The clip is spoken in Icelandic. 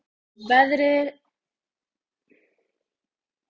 Veðrið er frábært alveg.